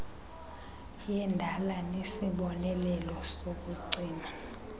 yendala nesibonelelo sokucima